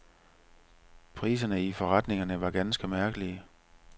Priserne i forretningerne var ganske mærkelige.